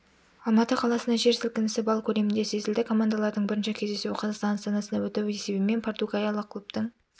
алматы қаласында жер сілкінісі балл көлемінде сезілді командалардың бірінші кездесуі қазақстан астанасында өтіп есебімен португалиялық клубтың